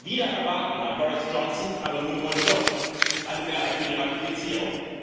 Wider Erwarten hat Boris Johnson aber nun wohl doch eine Mehrheit für die Ratifizierung.